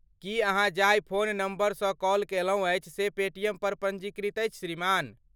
की अहाँ जाहि phone number सँ कॉल कैलहुँ अछि से पेटीएम पर पञ्जीकृत अछि श्रीमान?